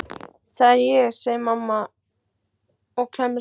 Það er ég, segir mamma og klemmist öll saman.